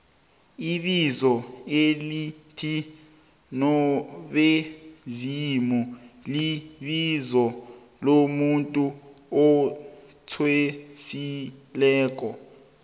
ibizo elithi nobezimulibizo lomuntu athwasileko